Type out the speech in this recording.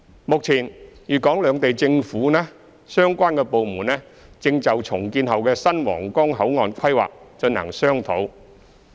目前，粵港兩地政府相關部門正就重建後的新皇崗口岸規劃進行商討。